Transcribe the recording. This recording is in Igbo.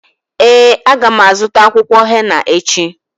Ee, a ga m azụta akwụkwọ henà echi.